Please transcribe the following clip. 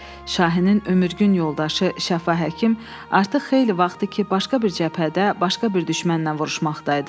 Şahinin ömürgün yoldaşı Şəfa həkim artıq xeyli vaxtdır ki, başqa bir cəbhədə, başqa bir düşmənlə vuruşmaqdaydı.